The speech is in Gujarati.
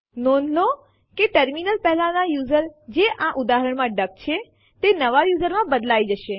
000551 000501 નોંધ લો કે ટર્મિનલ પહેલાંના યુઝર જે આ ઉદાહરણ માં ડક છે તેને નવા યુઝરમાં બદલાય જશે